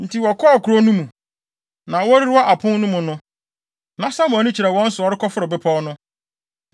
Enti wɔkɔɔ kurow no mu. Na wɔrewura apon no mu no, na Samuel ani kyerɛ wɔn so a ɔrekɔforo bepɔw no.